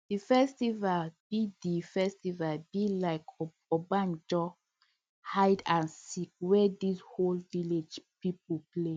the festival be the festival be like ogbonge hide and seek wey di whole village people play